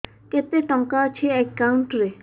କେତେ ଟଙ୍କା ଅଛି ଏକାଉଣ୍ଟ୍ ରେ